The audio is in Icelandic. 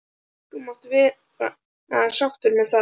. þú mátt vera sáttur með það.